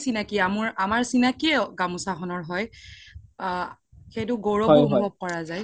চিনাকি আমাৰ চিনাকিও গামুচা খনৰ হয় আ সেইটো গৈৰবও অনোভাব কৰা যাই